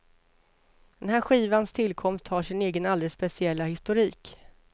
Den här skivans tillkomst har sin egen alldeles speciella historik.